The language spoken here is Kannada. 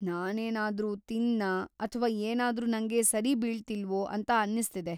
ನಾನೇನಾದ್ರೂ ತಿಂದ್ನಾ ಅಥ್ವಾ ಏನಾದ್ರೂ ನಂಗೆ ಸರಿಬೀಳ್ತಿಲ್ವೋ ಅಂತ ಅನ್ನಿಸ್ತಿದೆ.